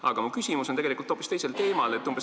Aga mu küsimus on hoopis teisel teemal.